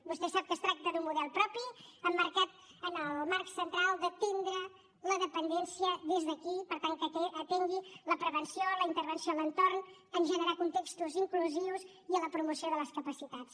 vostè sap que es tracta d’un model propi emmarcat en el marc central d’atendre la dependència des d’aquí per tant que atengui la prevenció la intervenció en l’entorn en generar contextos inclusius i en la promoció de les capacitats